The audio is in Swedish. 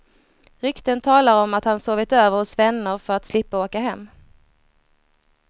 Rykten talar om att han sovit över hos vänner för att slippa åka hem.